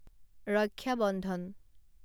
ৰক্ষা বন্ধন